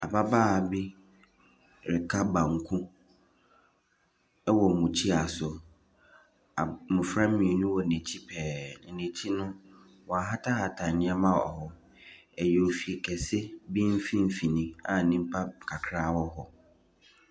Ababaa bi reka banku wɔ mukyia so. Ab mmɔfra mmienu wɔ n'akyi pɛɛ, na n'akyi no, wahatahata nneɛma wɔ hɔ. Ɛyɛ fi kɛse bi mfimfini a nnipa kakra wɔ hɔ.